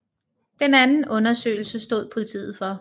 Den anden undersøgelse stod politiet for